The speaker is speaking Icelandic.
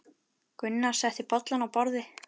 Gunnar setti bollana á borðið.